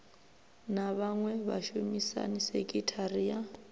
na vhaṅwe vhashumisani sekithara ya